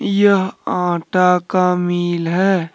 यह आटा का मिल है।